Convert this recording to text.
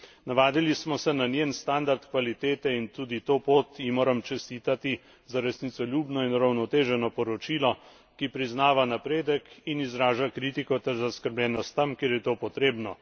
Navadili smo se na njen standard kvalitete in tudi to pot ji moram čestitati za resnicoljubno in uravnoteženo poročilo, ki priznava napredek in izraža kritiko ter zaskrbljenost tam, kjer je to potrebno.